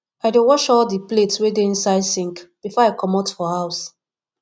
i dey wash all di plates wey dey inside sink before i comot for house